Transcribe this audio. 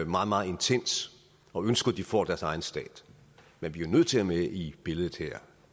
meget meget intenst og ønsker at de får deres egen stat men vi er nødt til at have med i billedet her